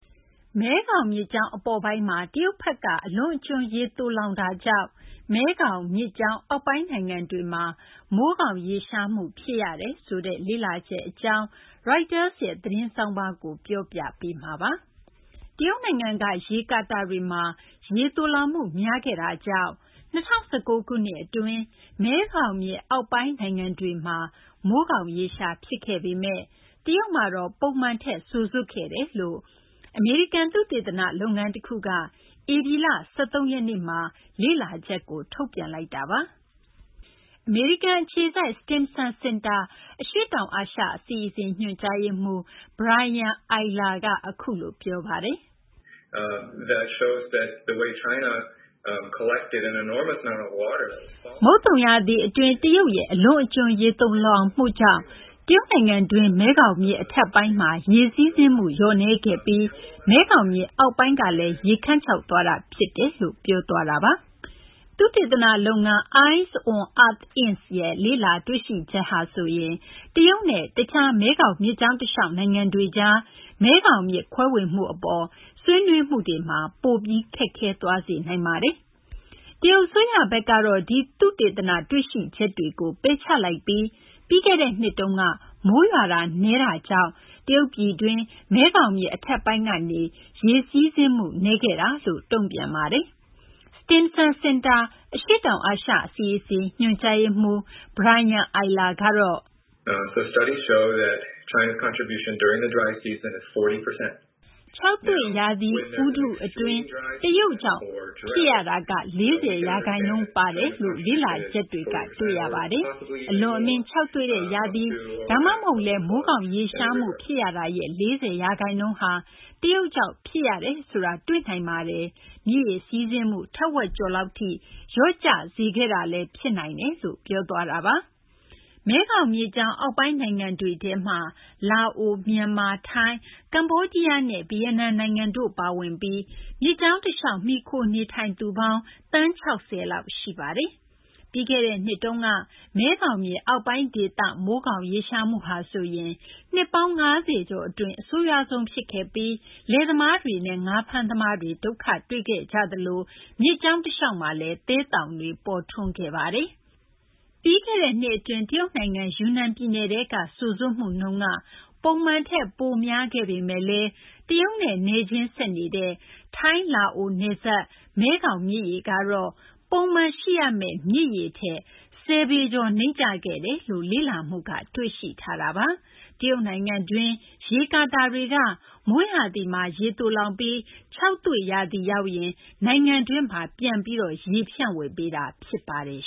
မဲခေါင်မြစ်ကြောင်း အပေါ်ပိုင်းမှာ တရုတ်ဘက်က အလွန်အကျွံ ရေသိုလှောင်မှုကြောင့် မဲခေါင်မြစ်ကြောင်း အောက်ပိုင်းနိုင်ငံတွေမှာ မိုးခေါင်ရေရှားမှု ဖြစ်ရတယ်ဆိုတဲ့ လေ့လာချက်အကြောင်း Reuters ရဲ့ သတင်းဆောင်းပါးကို မသိင်္ဂီထိုက် တင်ပြပေးထားပါတယ်။ တရုတ်နိုင်ငံက ရေကာတာတွေမှာ ရေသိုလှောင်မှု များခဲ့တာကြောင့် ၂၀၁၉ ခုနှစ် အတွင်း မဲခေါင်မြစ်အောက်ပိုင်း နိုင်ငံတွေမှာ မိုးခေါင်ရေရှား ဖြစ်ခဲ့ပေမယ့် တရုတ်မှာတော့ ပုံမှန်ထက် စိုစွတ်ခဲ့တယ်လို့ အမေရိကန် သုတေသနလုပ်ငန်း တခုက ဧပြီလ ၁၃ ရက်နေ့မှာ လေ့လာချက်ကို ထုတ်ပြန်လိုက်တာပါ။ အမေရိကန်အခြေစိုက် Stimson Center အရှေ့တောင်အာရှ အစီအစဉ် ညွှန်ကြားရေးမှူး Brian Eyler က အခုလို ပြောပါတယ်။ "မုတ်သုံရာသီအတွင်း တရုတ်ရဲ့ အလွန်အကျွံ ရေသိုလှောင်မှုကြောင့် တရုတ်နိုင်ငံတွင်း မဲခေါင်မြစ် အထက်ပိုင်းမှာ ရေစီးဆင်းမှု လျော့နည်းခဲ့ပြီး မဲခေါင်မြစ် အောက်ပိုင်းကလည်း ရေခန်းခြောက်သွားတာ ဖြစ်တယ်။” သုတေသနလုပ်ငန်း Eyes on Earth Inc., ရဲ့ လေ့လာတွေ့ရှိချက်ဟာဆိုရင် တရုတ်နဲ့ တခြား မဲခေါင်မြစ်ကြောင်းတလျှောက် နိုင်ငံတွေကြား မဲခေါင်မြစ်ခွဲဝေမှု အပေါ် ဆွေးနွေးမှုတွေမှာ ပိုပြီး ခက်ခဲသွားစေနိုင်ပါတယ်။ တရုတ်အစိုးရဘက်ကတော့ ဒီ သုတေသန တွေ့ရှိချက်ကို ပယ်ချလိုက်ပြီး ပြီးခဲ့တဲ့နှစ်အတွင်း မိုးရွာသွန်းမှု နည်းတာကြောင့်သာ တရုတ်ပြည်တွင်း မဲခေါင်မြစ် အထက်ပိုင်းကနေ ရေစီးဆင်းမှု နည်းတာလို့ တုံ့ပြန်ပါတယ်။ Stimson Center အရှေ့တောင်အာရှ အစီအစဉ် ညွှန်ကြားရေးမှူး Brian Eyler ကတော့ “ခြောက်သွေ့ရာသီဥတုအတွင်း တရုတ်ကြောင့် ဖြစ်ရတာက ၄၀ ရာခိုင်နှုန်း ပါတယ်လို့ လေ့လာချက်တွေက တွေ့ရပါတယ်။ အလွန်အမင်း ခြောက်သွေ့တဲ့ ရာသီ ဒါမှမဟုတ်လည်း မိုးခေါင်ရေရှားမှု ဖြစ်ရတာရဲ့ ၄၀ ရာခိုင်နှုန်းဟာ တရုတ်ကြောင့် ဖြစ်ရတယ်ဆိုတာ တွေ့နိုင်ပါတယ်။ မြစ်ရေစီးဆင်းမှု ထက်ဝက်ကျော်လောက်ထိ လျော့ကျစေခဲ့တာလည်း ဖြစ်နိုင်ပါတယ်” လို့ ပြောပါတယ်။ မဲခေါင်မြစ်ကြောင်းအောက်ပိုင်း နိုင်ငံတွေထဲမှာ လာအို၊ မြန်မာ၊ ထိုင်း၊ ကမ္ဘောဒီးယားနဲ့ ဗီယက်နမ်နိုင်ငံတို့ ပါဝင်ပြီး မြစ်ကြောင်းတလျှောက် မှီခိုနေထိုင်သူပေါင်း သန်း ၆၀ လောက် ရှိပါတယ်။ ပြီးခဲ့တဲ့နှစ်တုန်းက မဲခေါင်မြစ် အောက်ပိုင်းဒေသ မိုးခေါင်ရေရှားမှုဟာဆိုရင် နှစ်ပေါင်း ၅၀ ကျော်အတွင်း အဆိုးရွားဆုံး ဖြစ်ခဲ့ပြီး လယ်သမားတွေနဲ့ ငါးဖမ်းသမားတွေ ဒုက္ခတွေ့ခဲ့ကြပြီး မြစ်ကြောင်းတလျှောက်မှာလည်း သဲသောင်တွေ ဖြစ်ပေါ်ခဲ့ပါတယ်။ ပြီးခဲ့တဲ့နှစ်အတွင်း တရုတ်နိုင်ငံ ယူနန်ပြည်နယ်ထဲက စိုစွတ်မှုနှုန်းက ပုံမှန်ထက် ပိုများခဲ့ပေမယ့်လည်း တရုတ်နဲ့ နယ်ချင်းဆက်နေတဲ့ ထိုင်း၊ လာအို နယ်စပ်က မဲခေါင်မြစ်ရေကတော့ ပုံမှန်ရှိရမယ့် မြစ်ရေထက် ၁၀ ပေကျော် နိမ့်ကျခဲ့တယ်လို့ လေ့လာမှုက တွေ့ရှိထားတာပါ။ တရုတ်နိုင်ငံတွင်း ရေကာတာတွေက မိုးရာသီမှာ ရေသိုလှောင်ပြီး ခြောက်သွေ့ရာသီရောက်ရင် နိုင်ငံတွင်းမှာ ပြန်ပြီး ရေဖြန့်ဝေပေးတာ ဖြစ်ပါတယ်